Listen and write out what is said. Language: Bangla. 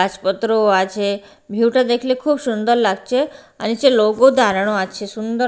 গাছপত্রও আছে ভিউ -টা দেখলে খুব সুন্দর লাগছে আর নিচে লোকও দাঁড়ানো আছে সুন্দর--